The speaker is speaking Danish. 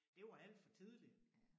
Det var alt for tidligt